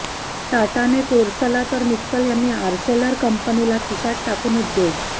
टाटाने कोरसला तर मित्तल यांनी आर्सेलर कंपनीला खिशात टाकून उद्योग